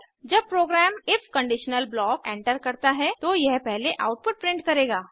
जब program if conditional block enter करता है तो यह पहले आउटपुट प्रिंट करेगा